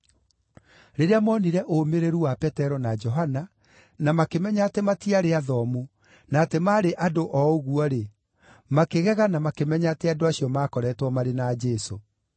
Rĩrĩa monire ũũmĩrĩru wa Petero na Johana, na makĩmenya atĩ matiarĩ athomu, na atĩ maarĩ andũ o ũguo-rĩ, makĩgega na makĩmenya atĩ andũ acio maakoreetwo marĩ na Jesũ.